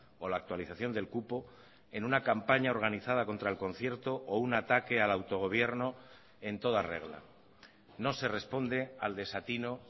o la actualización del cupo en una campaña organizada contra el concierto o un ataque al autogobierno en toda regla no se responde al desatino